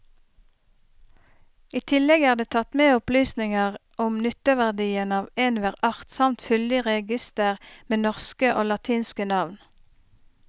I tillegg er det tatt med opplysninger om nytteverdien av enhver art samt fyldig reigister med norske og latinske navn.